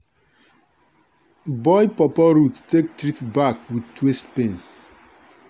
boil pawpaw root take treat back with waist pain.